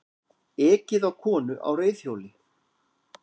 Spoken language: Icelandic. Ekið á konu á reiðhjóli